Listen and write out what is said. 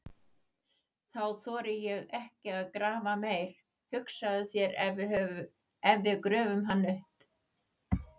Þá þori ég ekki að grafa meir, hugsaðu þér ef við gröfum hann upp!